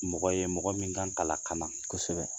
Mɔgɔ ye mɔgɔ min kan ka lakana, kosɛbɛ